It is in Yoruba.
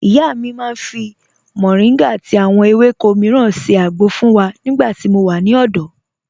Ìyá mi màá n fi Moringa àti àwọn èwéko míràn ṣẹ́ àgbọ̀ fun wa nígbà tí mò wà ní òdò.